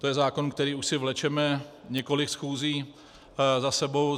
To je zákon, který už si vlečeme několik schůzí za sebou.